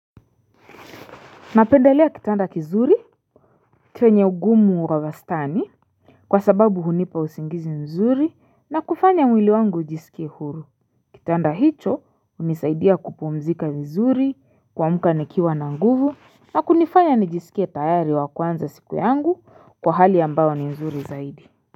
Napendelea kitanda kizuri chenye ugumu wa wastani Kwa sababu hunipa usingizi nzuri na kufanya mwili wangu ujisikie huru Kitanda hicho hunisaidia kupumzika nzuri kuamka nikiwa na nguvu na kunifanya nijisikie utayari wa kuanza siku yangu kwa hali ambao ni nzuri zaidi.